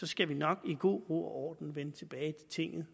skal vi nok i god ro og orden vende tilbage til tinget